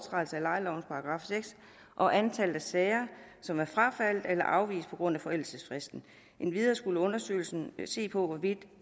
og antallet af sager som er frafaldet eller afvist på grund af forældelsesfristen endvidere skulle undersøgelsen se på hvorvidt